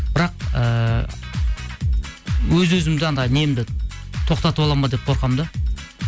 бірақ ыыы өз өзімді анандай немді тоқтатып аламын ба деп қорқамын да